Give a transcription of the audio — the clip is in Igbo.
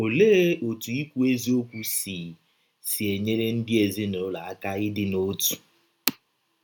Ọlee ọtụ ikwu eziọkwụ si si enyere ndị ezinụlọ aka ịdị n’ọtụ?